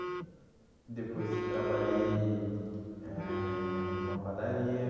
E... Depois trabalhei eh numa padaria.